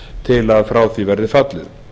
til að frá því verði fallið